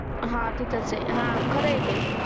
हा तिथेच आहे खरं आहे ते